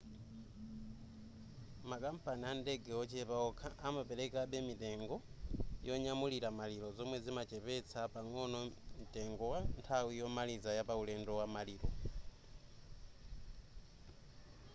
makampani andege ochepa okha amaperekabe mitengo yonyamulira maliro zomwe zimachepetsa pang'ono mtengo wa nthawi yomaliza ya pauledo wa maliro